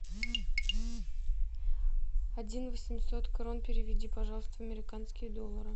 один восемьсот крон переведи пожалуйста в американские доллары